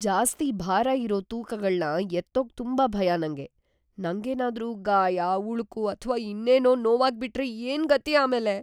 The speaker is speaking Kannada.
ಜಾಸ್ತಿ ಭಾರ ಇರೋ ತೂಕಗಳ್ನ ಎತ್ತೋಕ್ ತುಂಬಾ ಭಯ ನಂಗೆ. ನಂಗೇನಾದ್ರೂ ಗಾಯ, ಉಳುಕು ಅಥ್ವಾ ಇನ್ನೇನೋ ನೋವಾಗ್ಬಿಟ್ರೆ ಏನ್ಗತಿ ಆಮೇಲೆ?